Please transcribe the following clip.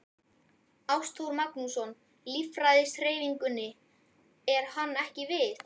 Ástþór Magnússon, Lýðræðishreyfingunni: Er hann ekki við?